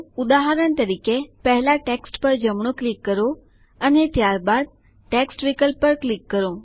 ઉદાહરણ તરીકે પહેલા ટેક્સ્ટ પર જમણું ક્લિક કરો અને ત્યારબાદ મેનૂમાં ટેક્સ્ટ વિકલ્પ પર ક્લિક કરો